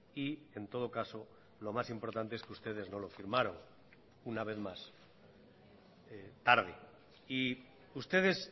y en todo caso lo más importante es que ustedes no lo firmaron una vez más tarde y ustedes